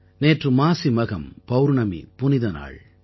நேற்று மாசி மகம் பௌர்ணமி புனிதநாள்